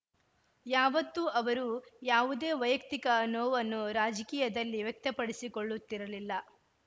ಯಾವತ್ತೂ ಅವರು ಯಾವುದೇ ವೈಯಕ್ತಿಕ ನೋವನ್ನು ರಾಜಕೀಯದಲ್ಲಿ ವ್ಯಕ್ತಪಡಿಸಿಕೊಳ್ಳುತ್ತಿರಲಿಲ್ಲ